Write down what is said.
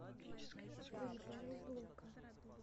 стрельба из лука